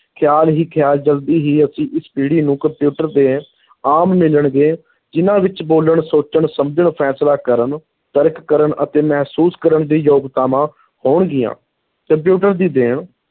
ਖ਼ਿਆਲ ਹੀ ਖ਼ਿਆਲ ਜਲਦੀ ਹੀ ਅਸੀਂ ਇਸ ਪੀੜੀ ਨੂੰ ਕੰਪਿਊਟਰ ਦੇ ਆਮ ਮਿਲਣਗੇ, ਜਿਨ੍ਹਾਂ ਵਿਚ ਬੋਲਣ, ਸੋਚਣ, ਸਮਝਣ, ਫ਼ੈਸਲਾ ਕਰਨ, ਤਰਕ ਕਰਨ ਅਤੇ ਮਹਿਸੂਸ ਕਰਨ ਦੀ ਯੋਗਤਾਵਾਂ ਹੋਣਗੀਆਂ, ਕੰਪਿਊਟਰ ਦੀ ਦੇਣ,